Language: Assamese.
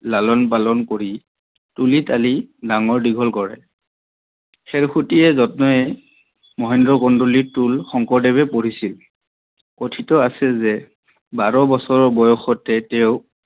লালন পালন কৰি তুলি তালি ডাঙৰ দীঘল কৰে। খেড়সোতিয়ে জতনেৰে মহেন্দ্ৰ কন্দলীৰ টোলত শ্ংকৰদেৱে পঢ়িছিল। ক্থিত আছে যে বাৰ বছৰ বয়ষতে তেওক